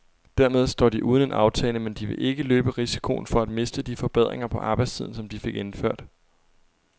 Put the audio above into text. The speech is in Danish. Dermed står de uden en aftale, men de vil ikke løbe risikoen for at miste de forbedringer på arbejdstiden, som de fik indført.